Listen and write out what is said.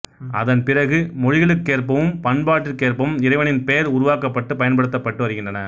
அதன் பிறகு மொழிகளுக்கேற்பவும் பண்பாடுக்கேற்பவும் இறைவனின் பெயர் உருவாக்கப்பட்டுப் பயன்படுத்தப்பட்டு வருகின்றன